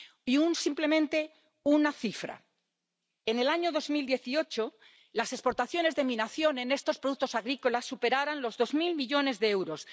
Y simplemente, una cifra en el año 2018 las exportaciones de mi nación en estos productos agrícolas superaron los dos mil millones de euros.